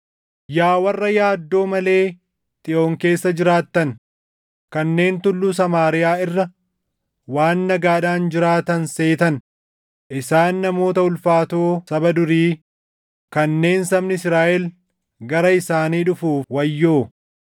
Yaa warra yaaddoo malee Xiyoon keessa jiraattan, kanneen Tulluu Samaariyaa irra waan nagaadhaan jiraatan seetan, isaan namoota ulfaatoo saba durii, kanneen sabni Israaʼel gara isaanii dhufuuf wayyoo!